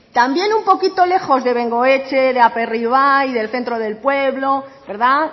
también un poquito lejos de bengoetxe de aperribai del centro del pueblo verdad